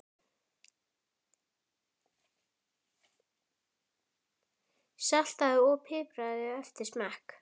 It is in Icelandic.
Saltaðu og pipraðu eftir smekk.